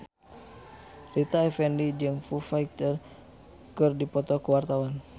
Rita Effendy jeung Foo Fighter keur dipoto ku wartawan